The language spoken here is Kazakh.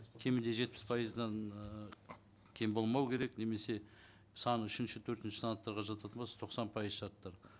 кемінде жетпіс пайыздан ыыы кем болмау керек немесе саны үшінші төртінші санаттарға жататын болса тоқсан пайыз шартты